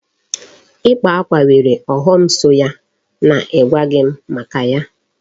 Ịkpa akwa nwere ọghọm so ya n'igwaghị m maka ya.